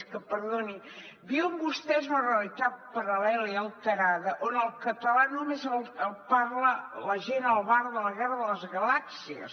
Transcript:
és que perdonin viuen vostès una realitat paral·lela i alterada on el català només el parla la gent al bar de la guerra de les galàxies